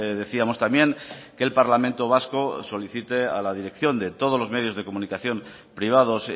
decíamos también que el parlamento vasco solicite a la dirección de todos los medios de comunicación privados